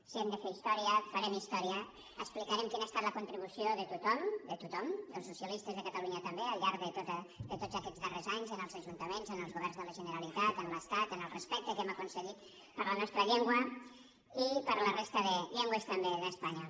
si hem de fer història farem història explicarem quina ha estat la contribució de tothom de tothom dels socialistes de catalunya també al llarg de tots aquests darrers anys en els ajuntaments ens els governs de la generalitat en l’estat en el respecte que hem aconseguit per a la nostra llengua i per a la resta de llengües també d’espanya